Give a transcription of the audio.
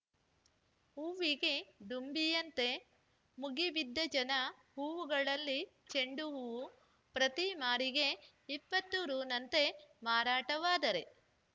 ಹೂವಿಗೆ ದುಂಬಿಯಂತೆ ಮುಗಿಬಿದ್ದ ಜನ ಹೂವುಗಳಲ್ಲಿ ಚೆಂಡು ಹೂವು ಪ್ರತಿ ಮಾರಿಗೆ ಇಪ್ಪತ್ತು ರುನಂತೆ ಮಾರಾಟವಾದರೆ